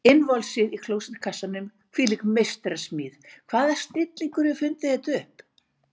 Innvolsið í klósettkassanum, hvílík meistarasmíð, hvaða snillingur hefur fundið þetta upp?